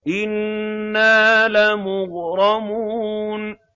إِنَّا لَمُغْرَمُونَ